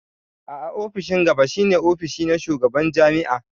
A'a ofishin gaba shi ne ofis na shugaban jami'a.